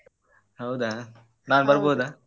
ಹೌದಾ ನಾನ್ ಬರ್ಬೋದಾ?